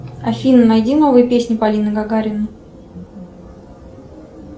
афина найди новые песни полины гагариной